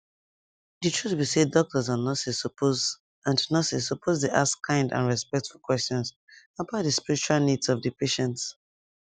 the truth be say doctors and nurses suppose and nurses suppose dey ask kind and respectful questions about the spiritual needs of the patient